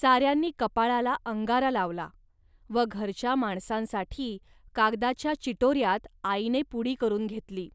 साऱ्यांनी कपाळाला अंगारा लावला व घरच्या माणसांसाठी कागदाच्या चिटोर्यात आईने पुडी करून घेतली.